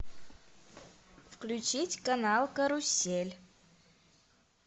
включить канал карусель